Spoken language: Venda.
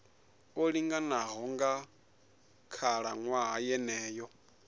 o linganaho nga khalaṅwaha yeneyo